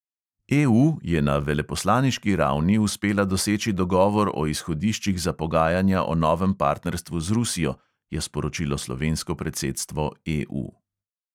EU je na veleposlaniški ravni uspela doseči dogovor o izhodiščih za pogajanja o novem partnerstvu z rusijo, je sporočilo slovensko predsedstvo EU.